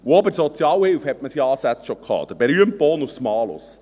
Auch bei der Sozialhilfe hatte man es in Ansätzen schon: der berühmte Bonus-Malus.